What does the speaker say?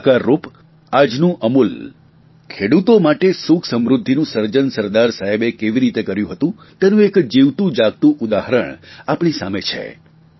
તે સાકારરૂપ આજનું અમૂલ ખેડૂતો માટે સુખસમૃદ્ધિનું સર્જન સરદાર સાહેબે કેવી રેતી કર્યું હતું તેનું એક જીવતું જાગતું ઉદાહરણ આપણી સામે છે